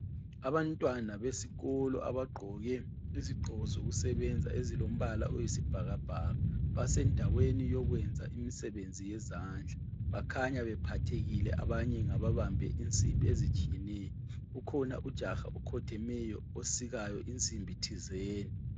Abantwana besikolo abagqoke izigqoko zokusebenza ezilombala oyisibhakabhaka, basendaweni yokwenza imisebenzi yezandla, bakhanya bephathekile abanye ngababambe insimbi ezitshiyeneyo , ukhona ujaha okhothemeyo osikayo insimbi thizeni.